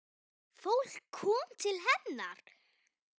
Fólk kom til hennar.